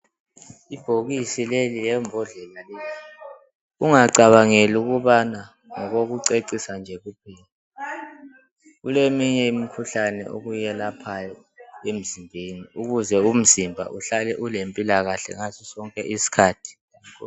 Ibhokisi leli lembodlela leyi ungacabangeli ukubana ngokokucecisa nje kuphela kuleminye imikhuhlane okuyelaphayo emzimbeni ukuze umzimba uhlale ulempilakahle ngasosonke isikhathi